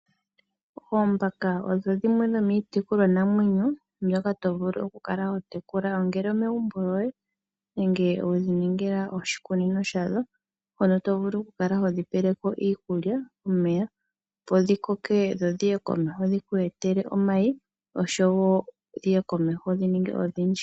Oombaka odho dhimwe dhomiitekulwanamwenyo mbyoka tovulu okukala watekula, ongele omegumbo lyoye nenge wedhi ningila oshikunino shadho mpono tovulu okukala hodhi pelepo Iikulya, omeya , opo dhi koke dho dhiye komeho dhiku etele omayi, oshowo dhiye komeho dhininge odhindji.